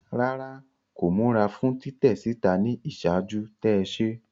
Rárá, ko mura fún titẹ síta ni iṣaaju-tẹ se